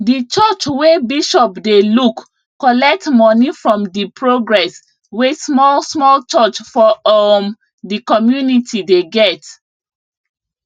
di church wey bishop dey look collect money from di progress wey small small church for um di community dey get